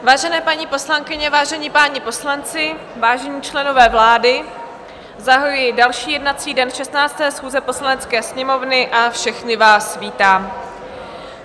Vážené paní poslankyně, vážení páni poslanci, vážení členové vlády, zahajuji další jednací den 16. schůze Poslanecké sněmovny a všechny vás vítám.